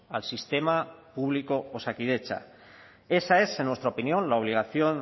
al sistema público osakidetza esa es en nuestra opinión la obligación